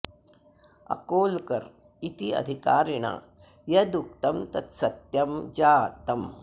अकोलकर् इति अधिकारिणा यद् उक्तं तत् सत्यं जातम्